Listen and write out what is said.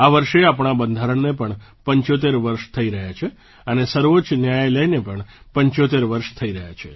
આ વર્ષે આપણાં બંધારણને પણ 75 વર્ષ થઈ રહ્યાં છે અને સર્વોચ્ચ ન્યાયાલયને પણ 75 વર્ષ થઈ રહ્યાં છે